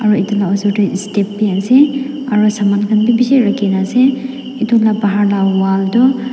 aru edu la osor tae step bi ase aro saman khan bi bishi rakhinaase edu la bahar la wall tu--